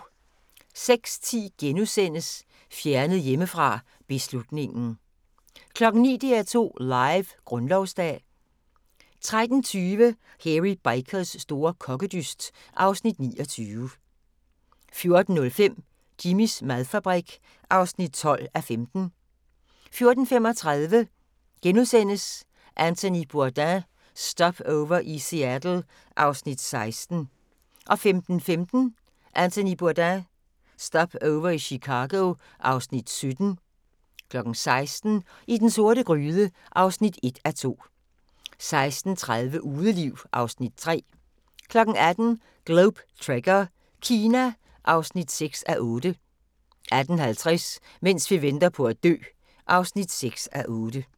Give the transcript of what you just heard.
06:10: Fjernet hjemmefra: Beslutningen * 09:00: DR2 Live: Grundlovsdag 13:20: Hairy Bikers store kokkedyst (Afs. 29) 14:05: Jimmys madfabrik (12:15) 14:35: Anthony Bourdain – Stopover i Seattle (Afs. 16)* 15:15: Anthony Bourdain – Stopover i Chicago (Afs. 17) 16:00: I den sorte gryde (1:2) 16:30: Udeliv (Afs. 3) 18:00: Globe Trekker - Kina (6:8) 18:50: Mens vi venter på at dø (6:8)